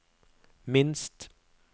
minst